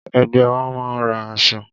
Ẹgbẹ́ wa máa ra aṣọ.